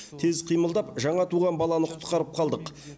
тез қимылдап жаңа туған баланы құтқарып қалдық